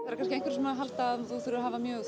eru kannski einhverjir sem halda að þú þurfir að hafa mjög